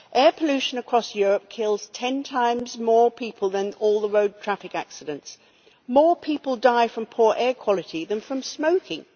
Air pollution across Europe kills 10 times more people than all road traffic accidents. More people die from poor air quality than from smoking.